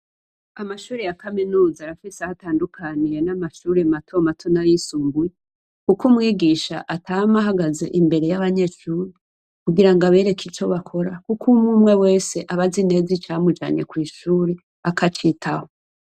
Amashure ya kaminuza arafise aho atandukanye n'amashure matomato nay'isumbuye. Kuko umwigisha atama ahagaze imbere yabanyeshure kugira abereke ico bakora. Kuko umwumwe wese aba azi icamujanye kw'ishure akacitaho.